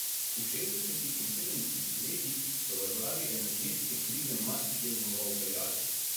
V šestdesetih in sedemdesetih letih so ga zaradi energetske krize marsikje znova vpeljali.